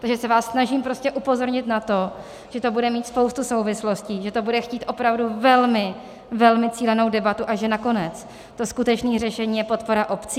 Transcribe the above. Takže se vás snažím prostě upozornit na to, že to bude mít spoustu souvislostí, že to bude chtít opravdu velmi, velmi cílenou debatu a že nakonec to skutečné řešení je podpora obcí.